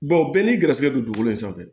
bɛɛ n'i garisɛgɛ don ko in sanfɛ